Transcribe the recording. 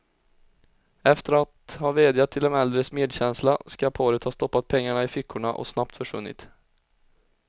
Efter att ha vädjat till de äldres medkänsla skall paret ha stoppat pengarna i fickorna och snabbt försvunnit.